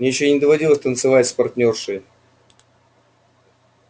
мне ещё не доводилось танцевать с партнёршей